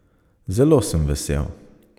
Zelo sem vesel.